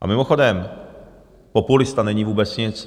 A mimochodem, populista není vůbec nic.